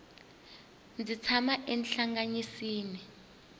ndzi tshama enhlangasini